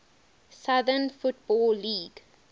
southern football league